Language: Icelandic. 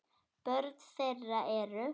Börn þeirra eru